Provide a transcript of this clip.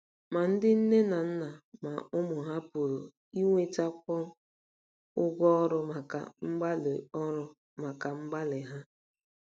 Ma ndị nne na nna ma ụmụ ha pụrụ inwetakwu ụgwọ ọrụ maka mgbalị ọrụ maka mgbalị ha.